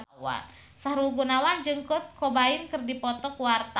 Sahrul Gunawan jeung Kurt Cobain keur dipoto ku wartawan